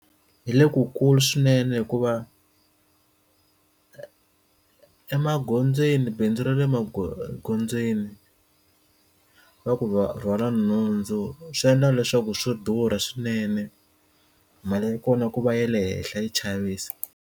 Hi le kukulu swinene hikuva emagondzweni bindzu ra le maghondzweni va ku va rhwala nhundzu swiendla leswaku swo durha swinene mali ya kona ku va ya le henhla yi chavisa.